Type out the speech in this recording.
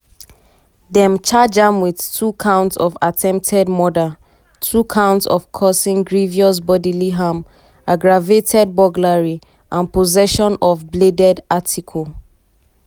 dem charge am wit two counts of attempted murder two counts of causing grievous bodily harm aggravated burglary and possession of a bladed article.